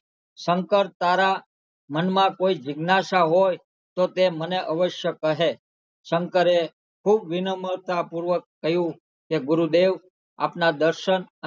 શંકર તારા મનમાં કોઈ જિજ્ઞાસા હોય તો તે મને અવશ્ય કહે શંકરે ખુબ વિનમ્રતા પુર્વક કહ્યુ કે ગુરુદેવ આપના દર્શન